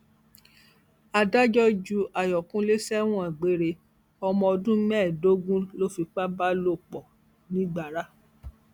adájọ ju àyókùnlé sẹwọn gbére ọmọ ọdún mẹẹẹdógún lọ fipá bá lò pọ nìgbára